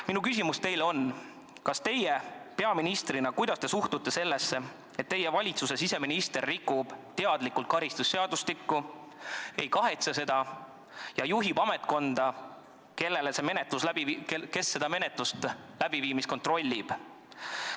Minu küsimus teile on: kuidas teie peaministrina suhtute sellesse, et teie valitsuse siseminister rikub teadlikult karistusseadustikku, ei kahetse seda ja juhib ametkonda, kes selle menetluse läbiviimist kontrollib?